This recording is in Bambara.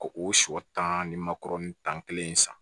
Ko o sɔ tan ni makɔrɔni tan kelen in san